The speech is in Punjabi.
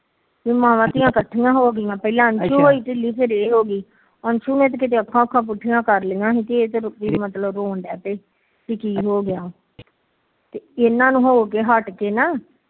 ਮਾਵਾ ਧੀਆ ਇਕੱਠੀਆ ਹੋ ਗੀਆਂ ਅਂਸ਼ੂ ਨੇ ਤੇ ਅੱਖਾ ਉਖਾ ਪੁਠੀਆਂ ਕਰ ਲਿਆਂ ਪੇ ਕੀ ਹੋ ਗਿਆ ਇਹਨਾ ਨੂੰ ਹੋ ਕੇ ਹੱਠ ਕੇ ਨਾ